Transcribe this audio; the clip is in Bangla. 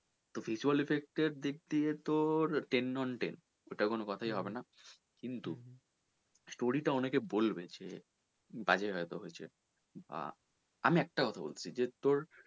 তো visual effect এর দিক দিয়ে তোর ten on ten ওটা কোনো কথাই হবে না কিন্তু story টা অনেকে বলবে যে বাজে হয়তো হয়েছে বা আমি একটা কথা বলতে চাই যে তোর,